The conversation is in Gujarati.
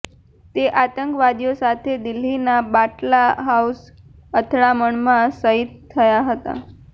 તેઓ આતંકવાદીઓ સાથે દિલ્હીના બાટલા હાઉસ અથડામણમાં શહીદ થયા હતા